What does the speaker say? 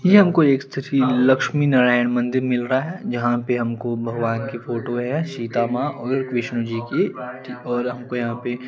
ये हमको किसी लक्ष्मी नारायण मंदिर मिल रहा है जहाँ पर हमको भगवान की फोटो है सीता मां और विष्णु जी की और हमको यहाँ पे--